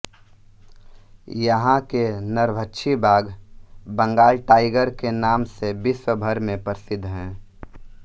यहां के नरभक्षी बाघ बंगाल टाइगर के नाम से विश्व भर में प्रसिद्ध हैं